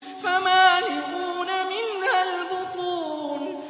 فَمَالِئُونَ مِنْهَا الْبُطُونَ